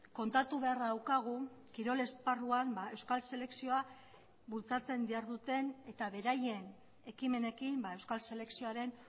kontatu beharra daukagu kirol esparruan euskal selekzioa bultzatzen diharduten eta beraien ekimenekin euskal selekzioaren